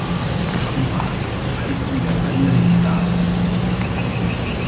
Kamma, hvernig er veðrið í dag?